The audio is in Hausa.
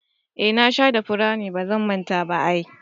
Eh na shayar da furanni, bazan manta ba ai.